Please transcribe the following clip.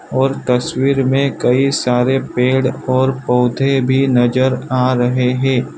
और तस्वीर में कई सारे पेड़ और पौधे भी नजर आ रहे हैं।